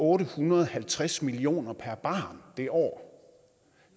ottehundrede og halvtredstusind kroner per barn det år